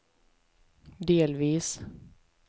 delvis